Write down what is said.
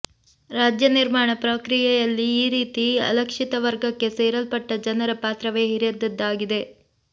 ರಾಜ್ಯ ನಿರ್ಮಾಣ ಪ್ರಕ್ರಿಯೆಯಲ್ಲಿ ಈ ರೀತಿ ಅಲಕ್ಷಿತ ವರ್ಗಕ್ಕೆ ಸೇರಲ್ಪಟ್ಟ ಜನರ ಪಾತ್ರವೇ ಹಿರಿದಾದದ್ದು